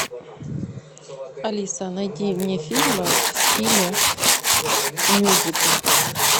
алиса найди мне фильмы в стиле мюзикл